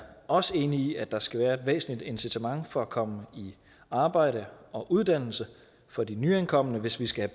også enig i at der skal være et væsentligt incitament for at komme i arbejde og uddannelse for de nyankomne hvis vi skal